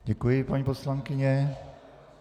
Děkuji, paní poslankyně.